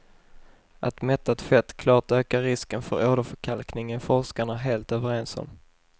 Att mättat fett klart ökar risken för åderförkalkning är forskarna helt överens om.